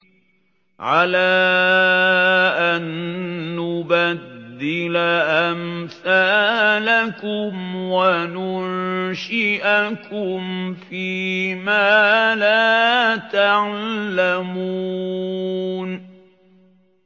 عَلَىٰ أَن نُّبَدِّلَ أَمْثَالَكُمْ وَنُنشِئَكُمْ فِي مَا لَا تَعْلَمُونَ